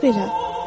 Bax belə.